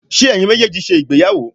ṣe eyín mejeejí sé ìgbéyàwó?